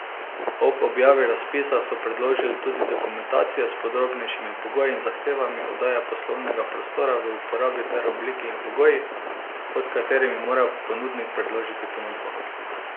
Ob objavi razpisa so predložili tudi dokumentacijo s podrobnejšimi pogoji in zahtevami oddaje poslovnega prostora v uporabo ter obliko in pogoji, pod katerimi mora ponudnik predložiti ponudbo.